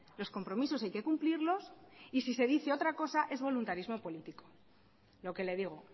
los compromisos hay que cumplirlos y si se dice otra cosa es voluntarismo político lo que le digo